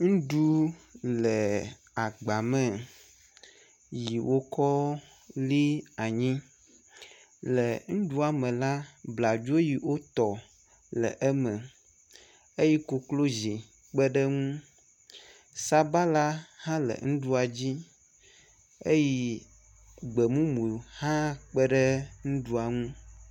Nuɖu le agba me yi wokɔ li anyi le ŋuɖua me la, bladzi yi wotɔ le eme eye koklozi kpe ɖe eŋu. sabala hã le nuɖua dzi eye gbemumu hã kpe ɖe nuɖua ŋu.